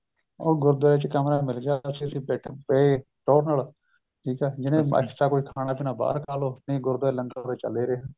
ਉਹ ਗੁਰੂਦਵਾਰੇ ਚ ਕਮਰਾ ਮਿੱਲ ਗਿਆ ਅੱਸੀ ਉਥੇ ਪਏ ਟੋਹਰ ਨਾਲ ਠੀਕ ਏ ਜਿੰਨੇ extra ਕੁੱਛ ਖਾਣਾ ਪੀਣਾ ਬਹਾਰ ਖਾਲੋ ਨਹੀਂ ਗੁਰੂਦਵਾਰੇ ਲੰਗਰ ਚੱਲ ਏ ਰਿਹਾ